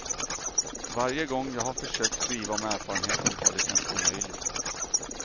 Varje gång jag har försökt skriva om erfarenheten har det känts omöjligt.